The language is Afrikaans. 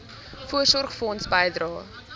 voorsorgfonds bydrae